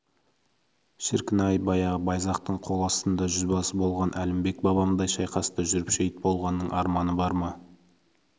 шіркін-ай баяғы байзақтың қол астында жүзбасы болған әлімбек бабамдай шайқаста жүріп шейіт болғанның арманы бар ма